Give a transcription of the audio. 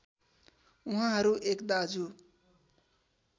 उहाँहरू एक दाजु